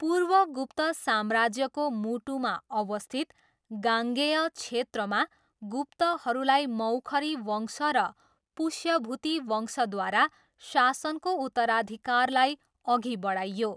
पूर्व गुप्त साम्राज्यको मुटुमा अवस्थित गाङ्गेय क्षेत्रमा, गुप्तहरूलाई मौखरी वंश र पुष्यभूति वंशद्वारा शासनको उत्तराधिकारलाई अघि बढाइयो।